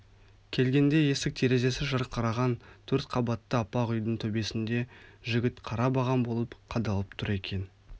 келгенде есік-терезесі жарқыраған төрт қабатты аппақ үйдің төбесінде жігіт қара баған болып қадалып тұр екен